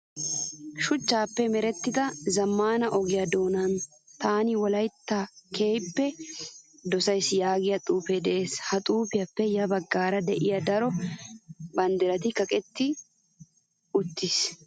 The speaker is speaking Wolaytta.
Shuchchaappe merettida zammaana ogiyaa doonan taani wolayitta keehippe dosayi yaagiyaa xuupee des. Ha xuupiyaappe ya baggaara diya daro banddirayi kaqetti uttis.